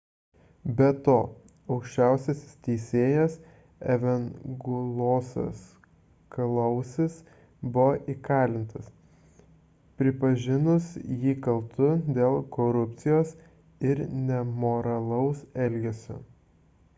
be to aukščiausias teisėjas evangelosas kalousis buvo įkalintas pripažinus jį kaltu dėl korupcijos ir nemoralaus elgesio